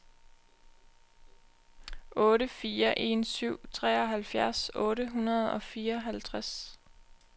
otte fire en syv treoghalvfjerds otte hundrede og fireoghalvtreds